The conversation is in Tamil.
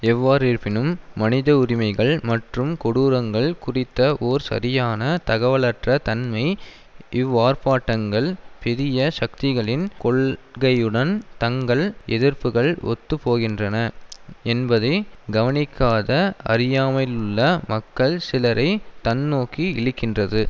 எவ்வாறிருப்பினும் மனித உரிமைகள் மற்றும் கொடூரங்கள் குடித்த ஓர் சரியான தகவலற்ற தன்மை இவ்வார்ப்பாட்டங்கள் பெரிய சக்திகளின் கொள்கையுடன் தங்கள் எதிர்ப்புகள் ஒத்து போகின்றன என்பதை கவனிக்காத அறியாமையிலுள்ள மக்கள் சிலரை தன்நோக்கி இழுக்கின்றது